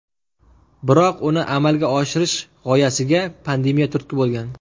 Biroq uni amalga oshirish g‘oyasiga pandemiya turtki bo‘lgan.